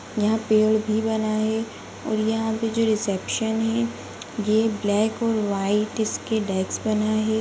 यहाँ पेड़ भी बना है और यहाँ पे जो रिसेप्शन है ये ब्लैक और व्हाइट इसके डेस्क बना है।